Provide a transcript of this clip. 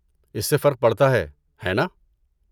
اس سے فرق پڑتا ہے، ہے ناں؟